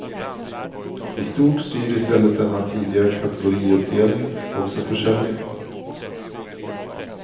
I stort styr i stället denna tidiga kategoriuppdelning också försäljningen.